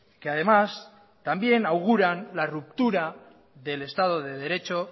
que además también auguran la ruptura del estado de derecho